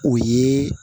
O ye